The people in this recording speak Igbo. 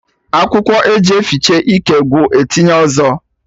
Akwụkwọ eji efiche ike gwụ, etinye ọzọ